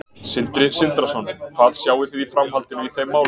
Sindri Sindrason: Hvað sjáið þið í framhaldinu í þeim málum?